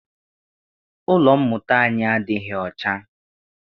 Ụlọ mmụta anyi adịghị ọcha.